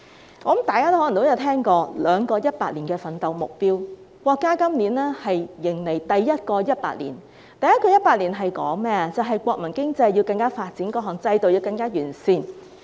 我想大家可能也聽過兩個100年的奮鬥目標，國家今年迎來第一個100年，目標是國民經濟更加發展，各項制度更加完善。